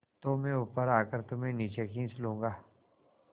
तो मैं ऊपर आकर तुम्हें नीचे खींच लूँगा